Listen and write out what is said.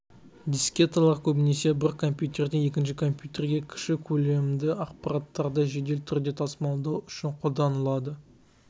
дискеталар көбінесе бір компьютерден екінші компьютерге кіші көлемді ақпараттарды жедел түрде тасымалдау үшін қолданылады